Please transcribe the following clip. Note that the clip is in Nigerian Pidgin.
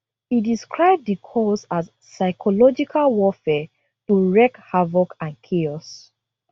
e describe di calls as psychological warfare to wreak havoc and chaos